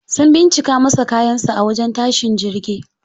Sun bincika masa kayan sa a wajen tashin jirgi.